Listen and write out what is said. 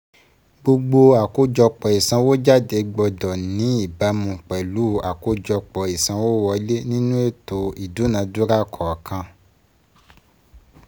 Gbogbo àkójọpọ̀ ìsànwójáde gbọ́dọ̀ ní gbọ́dọ̀ ní ìbámu pẹ̀lú àkójọpọ̀ ìsanwówọlé nínú ètò ìdúnadúrà kọ̀ọ̀kan